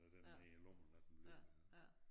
Du den ned i æ lomme og lader den blive nede